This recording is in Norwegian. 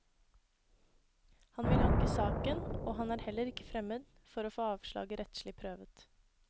Han vil anke saken, og han er heller ikke fremmed for å få avslaget rettslig prøvet.